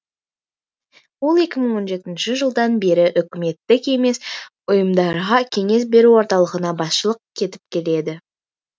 ол екі мың он жетінші жылдан бері үкіметтік емес ұйымдарға кеңес беру орталығына басшылық етіп келеді